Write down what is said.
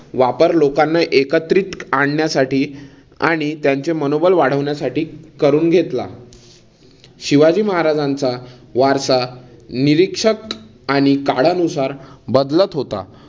वापर लोकांना एकत्रित आणण्यासाठी आणि त्यांचे मनोबल वाढविण्यासाठी करून घेतला. शिवाजी महाराजांचा वारसा निरीक्षक आणि काळानुसार बदलत होता.